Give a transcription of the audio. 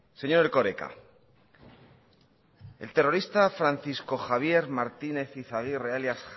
señor erkoreka el terrorista francisco javier martínez izagirre alias